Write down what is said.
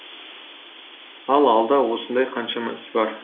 ал алда осындай қаншама іс бар